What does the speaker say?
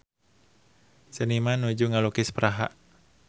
Seniman nuju ngalukis Praha